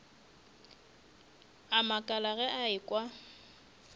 a makala ge a ekwa